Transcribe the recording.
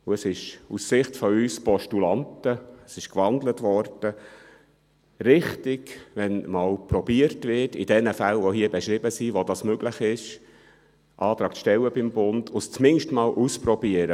Es ist aus Sicht von uns Postulanten – es wurde gewandelt – richtig, wenn einmal probiert wird, in diesen Fällen, die hier beschrieben sind, wo es möglich ist, beim Bund einen Antrag zu stellen und es zumindest einmal auszuprobieren.